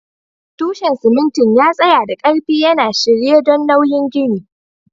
Tushen simintin ya tsaya da ƙarfi, yana shirye don nauyin ginin.